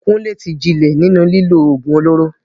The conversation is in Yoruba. Kunle ti jinlẹ̀ nínú lílo ògùn olóró.